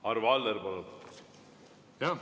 Arvo Aller, palun!